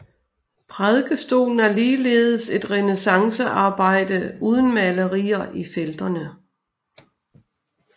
Prædikestolen er ligeledes et renæssancearbejde uden malerier i felterne